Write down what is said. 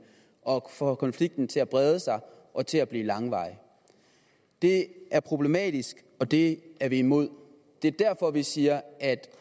og får konflikten til brede sig og til at blive langvarig det er problematisk og det er vi imod det er derfor vi siger at